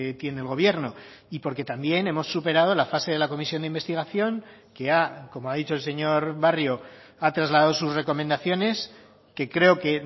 tiene el gobierno y porque también hemos superado la fase de la comisión de investigación que ha como ha dicho el señor barrio ha trasladado sus recomendaciones que creo que